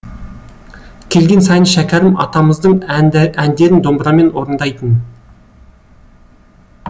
келген сайын шәкәрім атамыздың әндерін домбырамен орындайтын